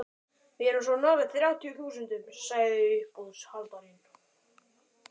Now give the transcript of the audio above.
Við erum svo nálægt þrjátíu þúsundunum, sagði uppboðshaldarinn.